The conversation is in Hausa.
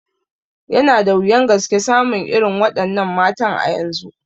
Yana da wuyan gaske samun irin wa ɗannan matan a yanzu